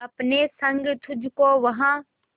अपने संग तुझको वहां